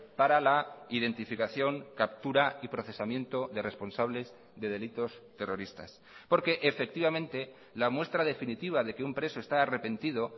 para la identificación captura y procesamiento de responsables de delitos terroristas porque efectivamente la muestra definitiva de que un preso está arrepentido